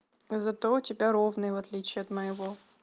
зато у тебя ровный в отличие от моего